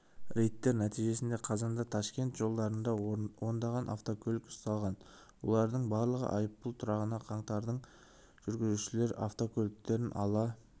рейдтер нәтижесінде қазанда ташкент жолдарында ондаған автокөлік ұсталған олардың барлығы айыппұл тұрағына қаңтарылған жүргізушілер авткөліктерін ала